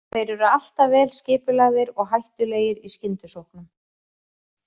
Þeir eru alltaf vel skipulagðir og hættulegir í skyndisóknum.